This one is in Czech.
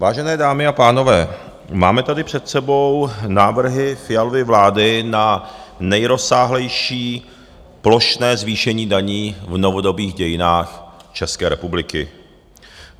Vážené dámy a pánové, máme tady před sebou návrhy Fialovy vlády na nejrozsáhlejší plošné zvýšení daní v novodobých dějinách České republiky.